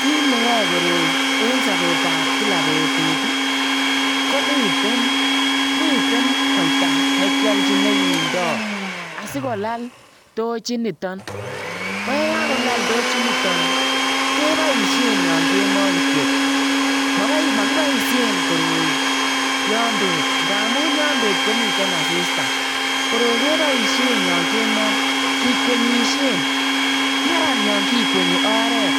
Kit ne yae koroi en sabeet ab kila betut ii ko miten miten koitaa nekialjiin nekindaa sikolaal tochiit nitoon ko ye kakolal tochiit nitoon ii kebaisheen yaan kemoi kityoi makibaisheen koroi yaan beet ndamuun yaan beet komiteen asista koroi kebaisheen yaan kemoi kikwenyisien maran yaan kikwenyii oret